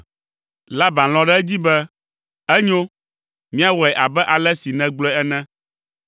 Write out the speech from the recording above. Laban lɔ̃ ɖe edzi be, “Enyo; míawɔe abe ale si nègblɔe ene!”